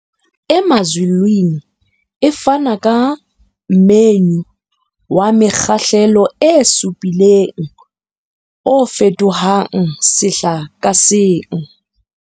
Emazulwini e fana ka menyu wa mekgahlelo e supileng, o fetohang sehla ka seng.